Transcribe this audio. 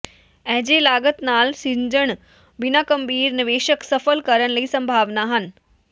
ਅਜਿਹੇ ਲਾਗਤ ਨਾਲ ਸਿੱਝਣ ਬਿਨਾ ਗੰਭੀਰ ਨਿਵੇਸ਼ਕ ਸਫ਼ਲ ਕਰਨ ਲਈ ਸੰਭਾਵਨਾ ਹਨ